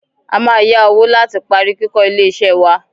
A máa yá owó láti parí kíkó ilé iṣẹ́ wá.